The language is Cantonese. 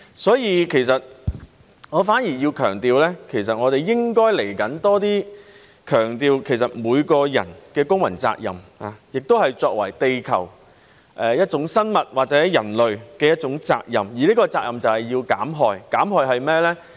所以，我反而要強調的是，我們應該在未來要多強調每個人的公民責任，也是作為地球一種生物或人類的一種責任，而這責任就是要減害。